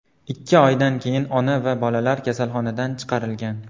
Ikki oydan keyin ona va bolalar kasalxonadan chiqarilgan.